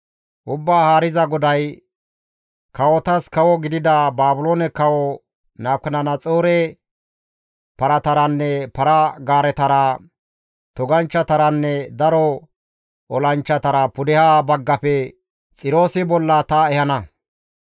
«Ubbaa Haariza GODAY, ‹Kawotas kawo gidida Baabiloone kawo Nabukadanaxoore parataranne para-gaaretara, toganchchataranne daro olanchchatara pudeha baggafe Xiroosi bolla ta ehana.